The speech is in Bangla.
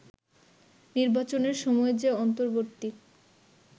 নির্বাচনের সময় যে অন্তর্বর্তী